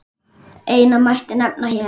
Eina mætti nefna hér.